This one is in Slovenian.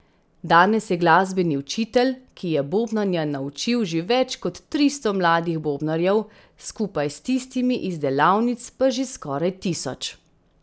Danes je glasbeni učitelj, ki je bobnanja naučil že več kot tristo mladih bobnarjev, skupaj s tistimi iz delavnic pa že skoraj tisoč.